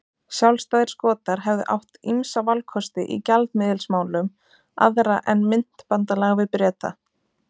Sjálfstæðir Skotar hefðu átt ýmsa valkosti í gjaldmiðilsmálum aðra en myntbandalag við Breta.